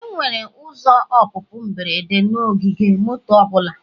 Enwere ụzọ ọpụpụ mberede na ogige moto ọ bụla.